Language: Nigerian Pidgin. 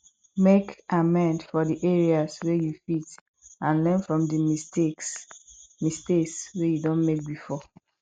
make amend for di areas wey you fit and learn from di mistakes mistakes wey you don make before